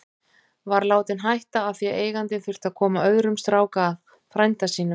Var látinn hætta af því að eigandinn þurfti að koma öðrum strák að, frænda sínum.